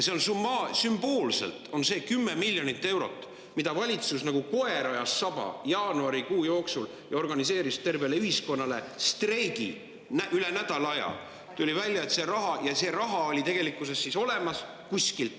See sümboolne 10 miljonit eurot, mida valitsus ajas nagu koer saba taga jaanuarikuu jooksul ja organiseeris tervele ühiskonnale üle nädala aja kestnud streigi, tuli välja, oli tegelikkuses kuskil olemas.